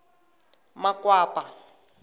makwapa